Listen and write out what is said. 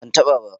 ban ta ba ba